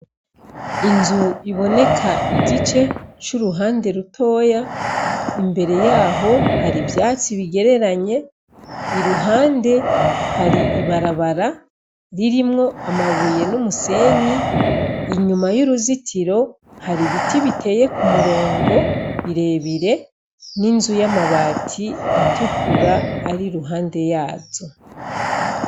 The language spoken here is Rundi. Inzu iboneka igice curuhande ritoya imbere yaho hari ivyatsi bigereranye iruhande hari ibarabara ririmwo amabuye numusenyi inyuma uruzitiro hari ibiti biteye kumurongo birebire ninzu amabati atukura ari iruhande yazo.